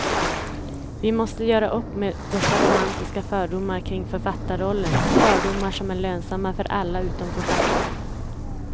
Vi måste göra upp med dessa romantiska fördomar kring författarrollen, fördomar som är lönsamma för alla utom författaren.